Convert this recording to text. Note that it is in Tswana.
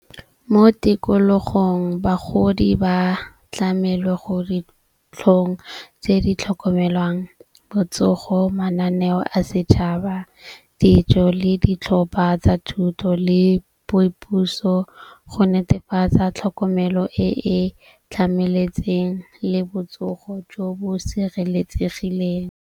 Mo tikologong bagodi ba tlamele go ditlhong tse di tlhokomelwang botsogo, mananeo a setšhaba, dijo le ditlhopha tsa thuto le boipuso go netefatsa tlhokomelo e e tlhamaletseng le botsogo jo bo sireletsegileng.